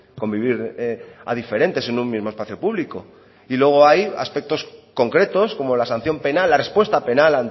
convivir a diferentes en un mismo espacio público y luego hay aspectos concretos como la sanción penal la respuesta penal